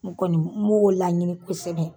N kɔni b n b'o laɲini kosɛbɛ.